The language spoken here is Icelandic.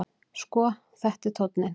Sko, þetta er tónninn!